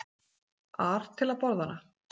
ar til að borða hana.